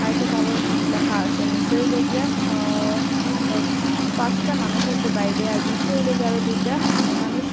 একটা তারও ল্যাখা আসে নীসে হইল গিয়া হ অফ পাঁসটা মানুষ আসে বাইরে আর বিতরে হইল গিয়া আরও দুইটা মেয়ে মানুষ।